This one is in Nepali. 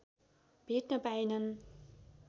भेट्न पाएनन्